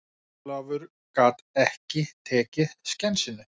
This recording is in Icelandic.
Ólafur gat ekki tekið skensinu.